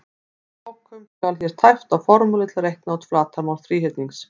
Að lokum skal hér tæpt á formúlu til að reikna út flatarmál þríhyrnings: